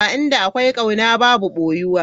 Inda akwai kauna babu boyuwa.